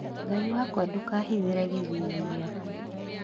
Ngai wakwa ndũkahithire gĩthithi gĩaku